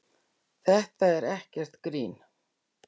Þetta er ekkert grín.